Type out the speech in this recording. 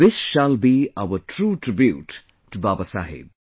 This shall be our true tribute to Baba Saheb